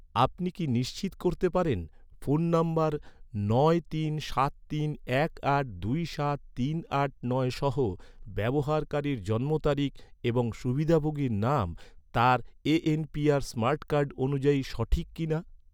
আপনি কি নিশ্চিত করতে পারেন, ফোন নম্বর নয় তিন সাত তিন এক আট দুই সাত তিন আট নয় সহ, ব্যবহারকারীর জন্মতারিখ এবং সুবিধাভোগীর নাম তার এন.পি.আর স্মার্ট কার্ড অনুযায়ী সঠিক কিনা?